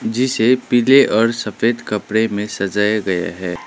जिसे पीले और सफेद कपड़े में सजाया गया हैं।